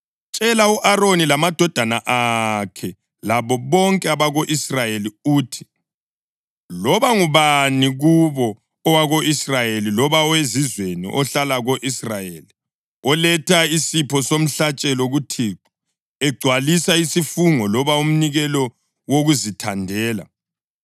“Tshela u-Aroni lamadodana akhe labo bonke abako-Israyeli uthi loba ngubani kubo, owako-Israyeli loba owezizweni ohlala ko-Israyeli, oletha isipho somhlatshelo kuThixo egcwalisa isifungo loba umnikelo wokuzithandela,